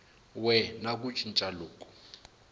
we na ku cinca loku